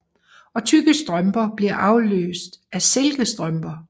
Og tykke strømper bliver afløst af silkestrømper